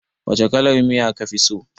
Wace kalar miya ka fi so